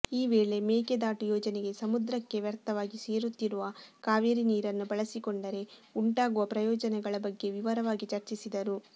ಈ ವೇಳೆ ಮೇಕೆದಾಟು ಯೋಜನೆಗೆ ಸಮುದ್ರಕ್ಕೆ ವ್ಯರ್ಥವಾಗಿ ಸೇರುತ್ತಿರುವ ಕಾವೇರಿ ನೀರನ್ನು ಬಳಸಿಕೊಂಡರೆ ಉಂಟಾಗುವ ಪ್ರಯೋಜನೆಗಳ ಬಗ್ಗೆ ವಿವರವಾಗಿ ಚರ್ಚಿಸಿದರು